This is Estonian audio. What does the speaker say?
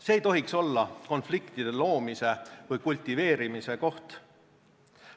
See ei tohiks olla konfliktide loomise või kultiveerimise koht.